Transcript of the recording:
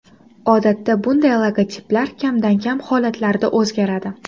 Odatda bunday logotiplar kamdan-kam holatlarda o‘zgaradi.